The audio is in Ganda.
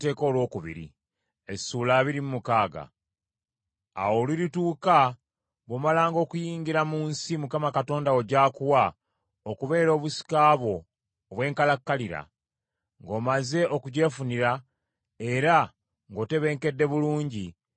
Awo olulituuka bw’omalanga okuyingira mu nsi, Mukama Katonda wo gy’akuwa okubeera obusika bwo obw’enkalakkalira, ng’omaze okugyefunira era ng’otebenkedde bulungi,